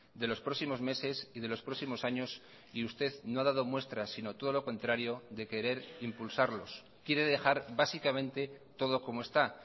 de los próximos meses y de los próximos años y usted no ha dado muestras sino todo lo contrario de querer impulsarlos quiere dejar básicamente todo como está